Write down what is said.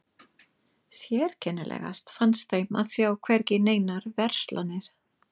Sérkennilegast fannst þeim að sjá hvergi neinar verslanir.